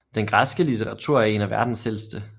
Den græske litteratur er en af verdens ældste